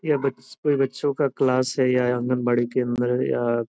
ये बच कोई बच्चो का क्लास है या आँगन बाड़ी केन्द्र --